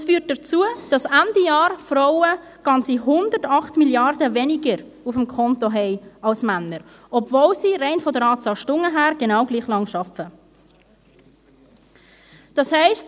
Dies führt dazu, dass Frauen Ende Jahr ganze 108 Mrd. Franken weniger auf dem Konto haben als Männer, obwohl sie rein von der Anzahl Stunden her genau gleich lang arbeiten.